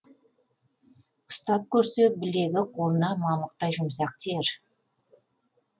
ұстап көрсе білегі қолына мамықтай жұмсақ тиер